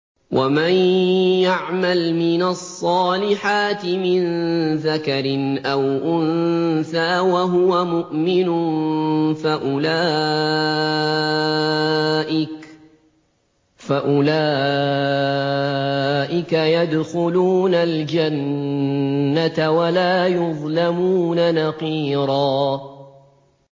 وَمَن يَعْمَلْ مِنَ الصَّالِحَاتِ مِن ذَكَرٍ أَوْ أُنثَىٰ وَهُوَ مُؤْمِنٌ فَأُولَٰئِكَ يَدْخُلُونَ الْجَنَّةَ وَلَا يُظْلَمُونَ نَقِيرًا